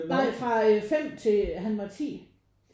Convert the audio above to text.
Nej fra 5 til han var 10